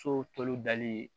So tulu dali